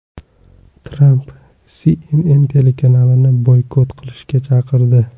Tramp CNN telekanalini boykot qilishga chaqirdi.